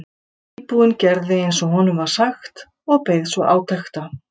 Íbúinn gerði eins og honum var sagt og beið svo átekta.